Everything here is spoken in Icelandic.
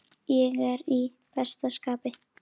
Ég er í besta skapi.